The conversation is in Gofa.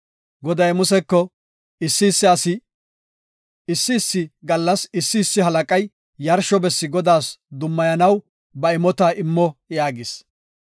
Goday Museko, “Issi issi gallas issi issi halaqay yarsho bessi Godaas dummayanaw ba imota immo” yaagis.